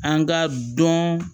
An ka dɔn